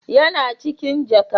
Yana cikin jaka